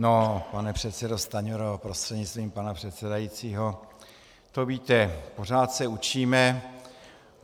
No, pane předsedo Stanjuro, prostřednictvím pana předsedajícího, to víte, pořád se učíme.